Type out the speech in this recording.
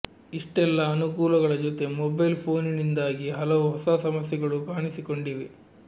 ಇಷ್ಟೆಲ್ಲ ಅನುಕೂಲಗಳ ಜೊತೆ ಮೊಬೈಲ್ ಫೋನಿನಿಂದಾಗಿ ಹಲವು ಹೊಸ ಸಮಸ್ಯೆಗಳೂ ಕಾಣಿಸಿಕೊಂಡಿವೆ